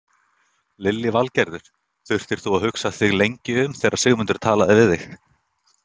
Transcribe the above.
Lillý Valgerður: Þurftir þú að hugsa þig lengi um þegar Sigmundur talaði við þig?